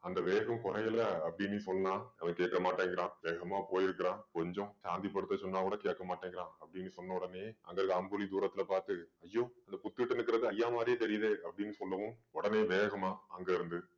அந்த வேகம் குறையல அப்படின்னு சொன்னா அவன் கேட்க மாட்டேங்கிறான் வேகமா போயிருக்கிறான் கொஞ்சம் சாந்தி படுத்த சொன்னாக்கூட கேட்க மாட்டேங்கிறான் அப்படின்னு சொன்ன உடனேயே அங்க இருக்கிற அம்புலி தூரத்துல பார்த்து ஐயோ அந்த புத்து கிட்ட நிக்கிறது ஐயா மாதிரியே தெரியுதே அப்படின்னு சொல்லவும் உடனே வேகமா அங்க இருந்து